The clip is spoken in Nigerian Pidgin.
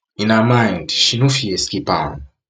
in her mind she no fit escape am